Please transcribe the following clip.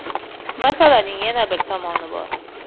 Masalaning yana bir tomoni bor.